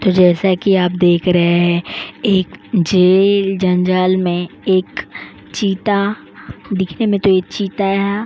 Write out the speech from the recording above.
तो जैसा कि आप देख रहे हैं एक जेल जंजाल में एक चीता दिखने में तो ये चीता है।